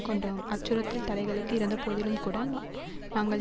கொண்டோம் அச்சுறுத்தல் தலைகளுக்கு இறந்தபோதிலும்கூட நாங்கள்